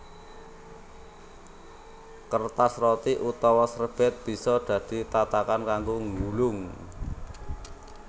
Kertas roti utawa serbèt bisa dadi tatakan kanggo nggulung